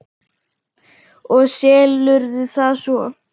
Og selurðu það svo?